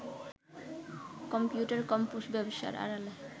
computer compose ব্যবসার আড়ালে